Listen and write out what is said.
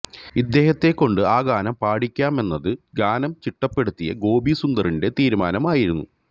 ഇദ്ദേഹത്തെ കൊണ്ട് ആ ഗാനം പാടിക്കാമെന്നത് ഗാനം ചിട്ടപ്പെടുത്തിയ ഗോപിസുന്ദറിന്റെ തീരുമാനം ആയിരുന്നു